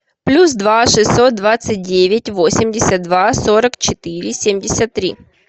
плюс два шестьсот двадцать девять восемьдесят два сорок четыре семьдесят три